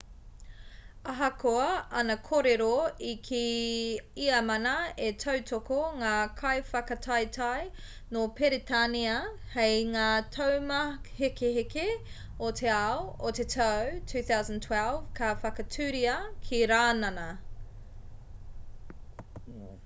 ahakoa ana kōrero i kī ia māna e tautoko ngā kaiwhakataetae nō peretānia hei ngā taumāhekeheke o te ao o te tau 2012 ka whakatūria ki rānana